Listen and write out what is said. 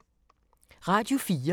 Radio 4